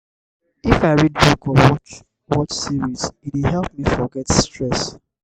i fit read book or watch watch series; e dey help me forget stress.